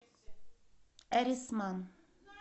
эрисман